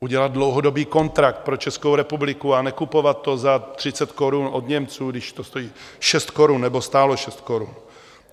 Udělat dlouhodobý kontrakt pro Českou republiku a nekupovat to za 30 korun od Němců, když to stojí 6 korun, nebo stálo 6 korun.